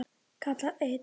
kallaði einn.